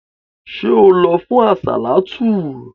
Ṣé o lọ fún àsàlátù?